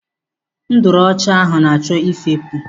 Nduru ọcha ahụ na-achọ ifepu.